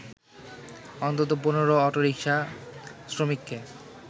অন্তত ১৫ অটোরিকশা শ্রমিককে